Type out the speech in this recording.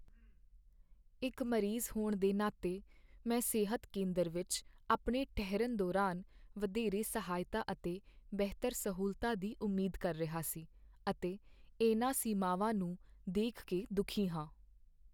ਇੱਕ ਮਰੀਜ਼ ਹੋਣ ਦੇ ਨਾਤੇ, ਮੈਂ ਸਿਹਤ ਕੇਂਦਰ ਵਿੱਚ ਆਪਣੇ ਠਹਿਰਨ ਦੌਰਾਨ ਵਧੇਰੇ ਸਹਾਇਤਾ ਅਤੇ ਬਿਹਤਰ ਸਹੂਲਤਾਂ ਦੀ ਉਮੀਦ ਕਰ ਰਿਹਾ ਸੀ, ਅਤੇ ਇਹਨਾਂ ਸੀਮਾਵਾਂ ਨੂੰ ਦੇਖ ਕੇ ਦੁਖੀ ਹਾਂ।